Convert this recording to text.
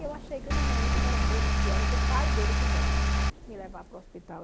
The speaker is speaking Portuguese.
E eu achei que o neném ia esperar para o outro dia, era que o pai dele quisesse me levar para o hospital.